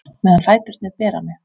Meðan fæturnir bera mig